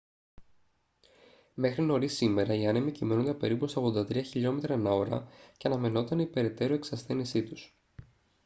μέχρι νωρίς σήμερα οι άνεμοι κυμαίνονταν περίπου στα 83 χλμ/ ώρα και αναμενόταν η περαιτέρω εξασθένισή τους